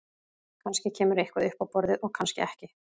Kannski kemur eitthvað upp á borðið og kannski ekki.